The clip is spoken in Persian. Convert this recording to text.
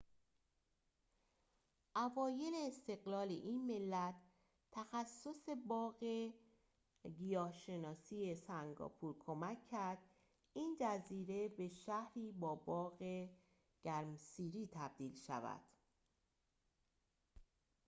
اوایل استقلال این ملت تخصص باغ گیاه‌شناسی سنگاپور کمک کرد این جزیره به شهری با باغ گرمسیری تبدیل شود